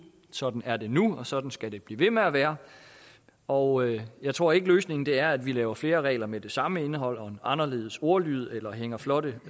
sådan er det nu og sådan skal det blive ved med at være og jeg tror ikke løsningen er at vi laver flere regler med det samme indhold men med en anderledes ordlyd eller hænger flotte